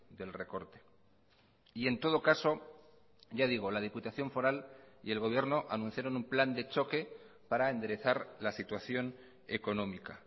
del recorte y en todo caso ya digo la diputación foral y el gobierno anunciaron un plan de choque para enderezar la situación económica